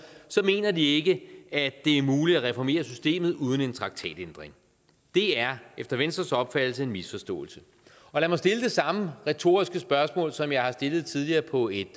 mener de ikke at det er muligt at reformere systemet uden en traktatændring det er efter venstres opfattelse en misforståelse lad mig stille det samme retoriske spørgsmål som jeg har stillet tidligere på et